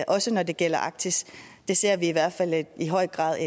også når det gælder arktis ser vi i hvert fald i høj grad